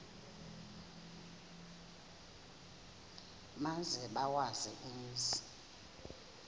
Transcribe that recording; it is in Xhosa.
maze bawazi umzi